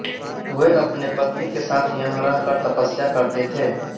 वे अपनी पत्नी के साथ यहाँ रह कर तपस्या करते थे